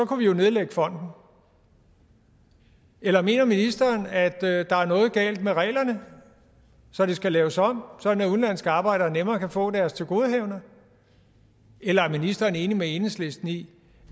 kunne vi jo nedlægge fonden eller mener ministeren at at der er noget galt med reglerne så de skal laves om sådan at udenlandske arbejdere nemmere kan få deres tilgodehavender eller er ministeren enig med enhedslisten i